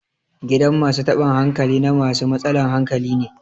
gidan masu taban hankali na masu matsalan hankali ne